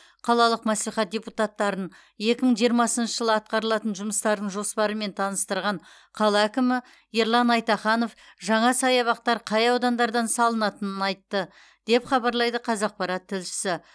қалалық мәслихат депутаттарын екі мың жиырмасыншы жылы атқарылатын жұмыстардың жоспарымен таныстырған қала әкімі ерлан айтаханов жаңа саябақтар қай аудандардан салынатынын айтты деп хабарлайды қазақпарат тілшісі